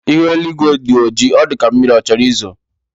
Ihu eluigwe dị ọjị, ọ dịka mmiri chọrọ izo